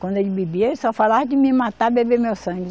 Quando ele bebia, só falava de me matar e beber meu sangue.